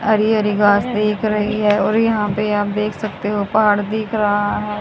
हरी हरी घास देख रही है और यहां पे आप देख सकते हो पहाड़ दिख रहा है।